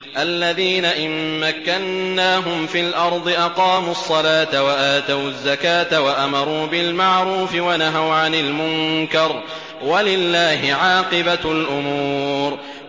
الَّذِينَ إِن مَّكَّنَّاهُمْ فِي الْأَرْضِ أَقَامُوا الصَّلَاةَ وَآتَوُا الزَّكَاةَ وَأَمَرُوا بِالْمَعْرُوفِ وَنَهَوْا عَنِ الْمُنكَرِ ۗ وَلِلَّهِ عَاقِبَةُ الْأُمُورِ